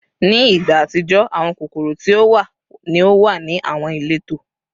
Ni igba atijọ, awọn kokoro ti o wa ni o wa ni awọn ileto